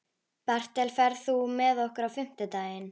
Bertel, ferð þú með okkur á fimmtudaginn?